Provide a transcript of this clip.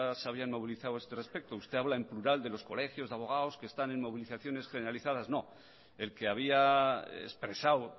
se habían movilizado a este respecto usted habla en plural de los colegios de abogados que están en movilizaciones generalizadas no el que había expresado